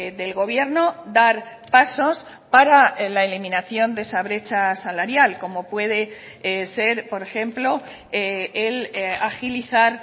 del gobierno dar pasos para la eliminación de esa brecha salarial como puede ser por ejemplo el agilizar